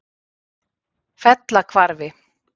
Fellahvarfi